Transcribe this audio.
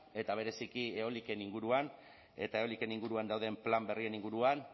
eta bereziki eoliken inguruan eta eoliken inguruan dauden plan berrien inguruan